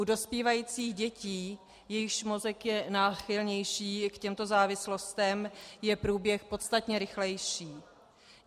U dospívajících dětí, jejichž mozek je náchylnější k těmto závislostem, je průběh podstatně rychlejší.